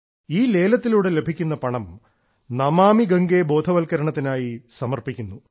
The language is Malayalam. ഈ ലേലത്തിലൂടെ ലഭിക്കുന്ന പണം നമാമി ഗംഗ ബോധവൽക്കരണത്തിനായി സമർപ്പിക്കുന്നു